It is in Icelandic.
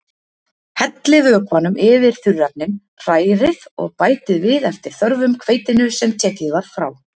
Hellið vökvanum yfir þurrefnin, hrærið og bætið við eftir þörfum hveitinu sem tekið var frá.